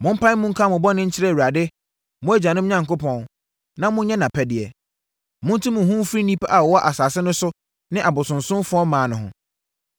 Mompae mu nka mo bɔne nkyerɛ Awurade, mo agyanom Onyankopɔn, na monyɛ nʼapɛdeɛ. Monte mo ho mfiri nnipa a wɔwɔ asase no so ne abosonsomfoɔ mmaa no ho.”